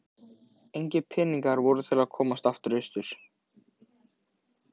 Engir peningar voru til að komast austur aftur.